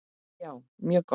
Já, mjög gott.